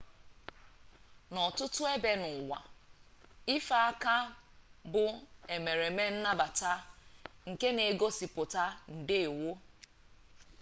n'ọtụtụ ebe n'ụwa ife aka bụ emereme nnabata nke na-egosipụta ndeewo